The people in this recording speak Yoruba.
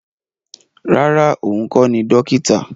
Rárá, òun kọ́ ni dókítà